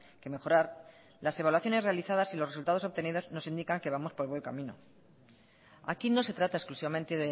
que mejorar las evaluaciones realizadas y los resultados obtenidos nos indican que vamos por el buen camino aquí no se trata exclusivamente